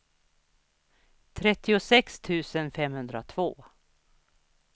trettiosex tusen femhundratvå